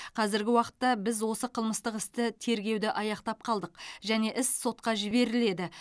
қазіргі уақытта біз осы қылмыстық істі тергеуді аяқтап қалдық және іс сотқа жіберіледі